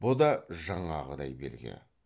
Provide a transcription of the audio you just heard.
бұ да жаңағыдай белгі